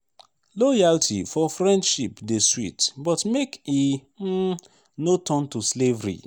loyalty for friendship dey sweet but make e um no turn to slavery.